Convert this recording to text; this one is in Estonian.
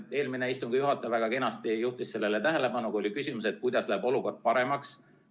Ja eelmine istungi juhataja väga kenasti juhtis sellele tähelepanu, kui oli küsimus, et kuidas läheb olukord paremaks.